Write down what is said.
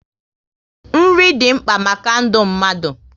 Nri dị mkpa maka ndụ mmadụ